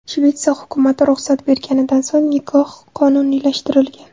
Shvetsiya hukumati ruxsat berganidan so‘ng, nikoh qonuniylashtirilgan.